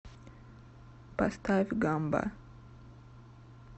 поставь гамба